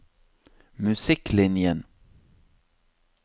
musikklinjen